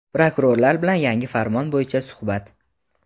Prokurorlar bilan yangi farmon bo‘yicha suhbat.